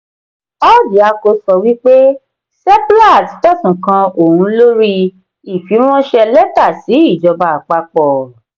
orjiako sọ wípé seplat fẹsun kan òhun lórí ifiranṣẹ lẹta sí ìjọba àpapọ̀.